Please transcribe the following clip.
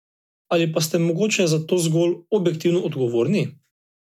Ali pa ste mogoče za to zgolj objektivno odgovorni?